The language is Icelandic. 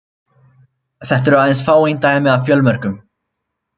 Þetta eru aðeins fáein dæmi af fjölmörgum.